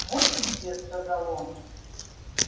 вот ты где сказал он